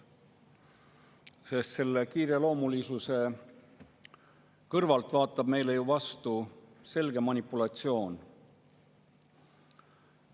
Sest selle kiireloomulisuse kõrvalt vaatab meile ju vastu selge manipulatsioon.